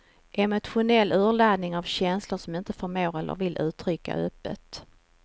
Emotionella urladdningar av känslor som ingen förmår eller vill uttrycka öppet.